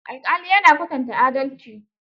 Alƙali ya na kwatanta adalci.